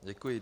Děkuji.